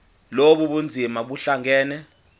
lobu bunzima buhlangane